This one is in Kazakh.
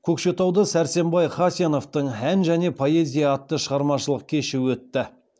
көкшетауда сәрсенбай хасеновтың ән және поэзия атты шығармашылық кеші өтті